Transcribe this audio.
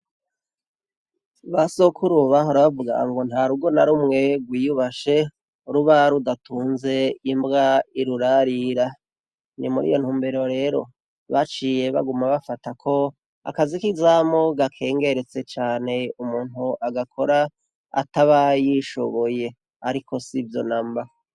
Basokuru bahora bavuga ngo nta rugo narumwe rwiyubashe ruba rudatunze imbwa irurarira, ni muriyo ntumbero rero baciye baguma bafata ko akazi k’izamu gakengeretse cane umuntu agakora ataba yishoboye ariko sivyo namba.